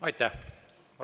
Aitäh!